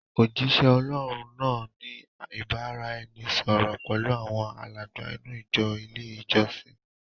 Òjisẹ Ọlọ́hun náà ni ìbáraẹnisọọ̀rọ̀ pẹlu awọn alàgbà inú ìjọ ilé ìjọsìn.